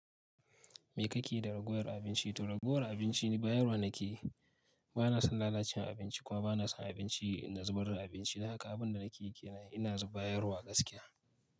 Me kake yi da ragowar abinci? To ragowar abinci ni bayarwa nake. Bana son lalacewar abinci kuma bana son abinci na zubar da abinci. Don haka abin da nake yi kenan ina bayarwa gaskiya.